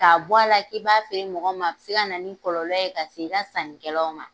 K'a bɔ a la k'i b'a feere mɔgɔw ma, a bɛ se ka na ni kɔlɔlɔ ye ka se i ka sannikɛlaw ma.